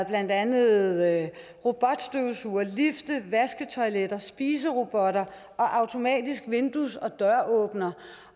blandt andet været robotstøvsugere lifte vasketoiletter spiserobotter og automatiske vindues og døråbnere